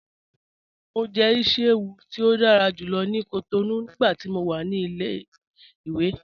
Mọ jẹ̀ ìṣí-èwù ti o dára júlọ̀ ni Cotonou nigbàtí mó wà ni ilẹ̀-iwe